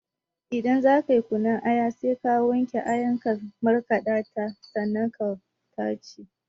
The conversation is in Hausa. Idan zakayi kunun aya sai ka wanke ayar ka markaɗa ta sannan ka tace